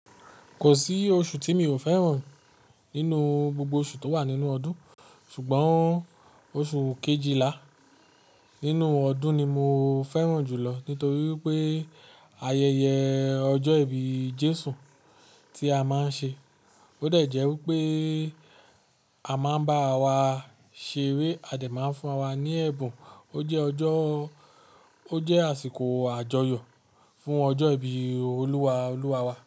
Kò sí oṣù tí mi ò fẹ́ràn nínú gbogbo oṣù tó wà nínú ọdún ṣùgbọ́n oṣù kejìlá nínú ọdún ni mo fẹ́ràn jùlọ nítorí wipé ayẹyẹ ọjọ́ ìbí Jésù tí a máa ń ṣe. Ó de jẹ́ wípé a máa ń bá wa ṣeré a dẹ̀ máa ń fún ara wa ní ẹ̀bùn. Ó jẹ́ ọjọ́, ó jẹ́ àsìkò àjọyọ̀ fún ọjọ́ ìbí olúwa, olúwa wa.